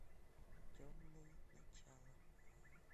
темные начала